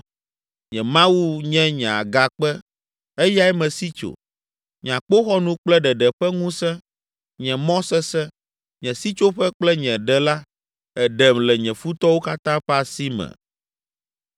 Nye Mawu nye nye agakpe, eyae mesi tso, nye akpoxɔnu kple ɖeɖe ƒe ŋusẽ. Nye mɔ sesẽ, nye sitsoƒe kple nye ɖela èɖem le nye futɔwo katã ƒe asi me.